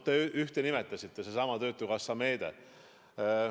Te ühte nimetasite, sedasama töötukassa meedet.